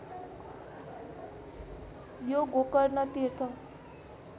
यो गोकर्ण तीर्थ